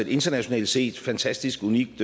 internationalt set fantastisk unikt